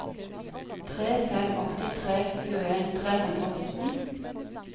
tre fem åtte tre tjueen tre hundre og sytten